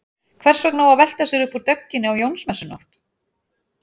Hvers vegna á að velta sér upp úr dögginni á Jónsmessunótt?